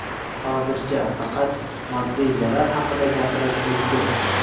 Hozircha faqat moddiy zarar haqida gapirish mumkin.